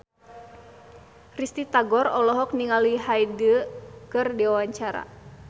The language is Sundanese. Risty Tagor olohok ningali Hyde keur diwawancara